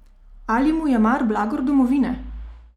Ali mu je mar blagor domovine?